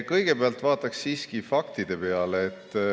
Kõigepealt vaataks siiski fakte.